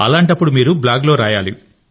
అలాంటప్పుడు మీరు బ్లాగ్ లో రాయాలి